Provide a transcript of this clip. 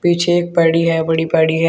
पीछे एक पैड़ी है बड़ी पैड़ी है।